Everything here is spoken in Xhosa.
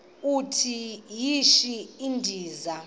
uthi yishi endiza